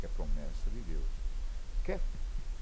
Que é promessa de Deus. Que